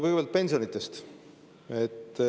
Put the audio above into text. Kõigepealt pensionidest.